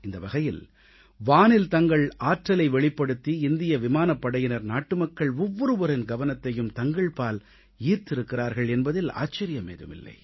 இந்த வகையில் வானில் தங்களது ஆற்றலை வெளிப்படுத்தி இந்திய விமானப் படையினர் நாட்டுமக்கள் ஒவ்வொருவரின் கவனத்தையும் தங்கள்பால் ஈர்த்திருக்கிறார்கள் என்பதில் ஆச்சரியமேதும் இல்லை